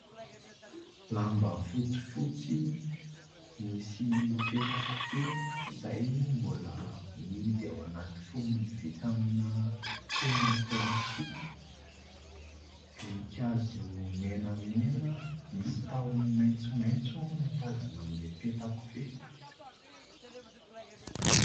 Lamba fotsifotsy misy peta-kofehy izay mbola mihidy ao anaty fonony vita amina fonony plastika. Voninkazo menamena misy tahony maitsomaitso no tazana amin'ilay peta-kofehy.